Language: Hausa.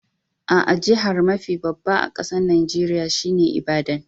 Aa, jihar mafi babba a kasan Nijeriya shine Ibadan.